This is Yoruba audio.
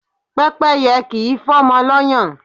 Pẹ́pẹ́yẹ kì í fọ́mọ lọ́yàn.